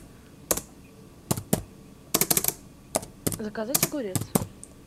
заказать огурец